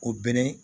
O bɛ ne